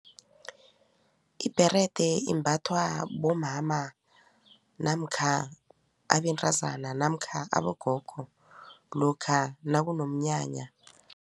Ibherede imbathwa bomama namkha abentazana namkha abogogo lokha nakunomnyanya.